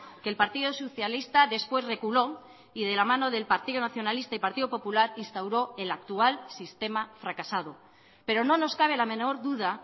que el partido socialista después reculó y de la mano del partido nacionalista y partido popular instauró el actual sistema fracasado pero no nos cabe la menor duda